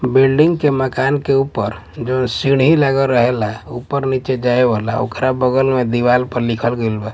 building के मकान के ऊपर जवन सीढ़ी लगल रर्हेला ऊपर- नीचे जाए वाला ओकरा बगल में लिखल गइल बा --